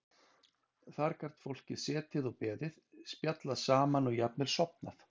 Þar gat fólk setið og beðið, spjallað saman og jafnvel sofnað.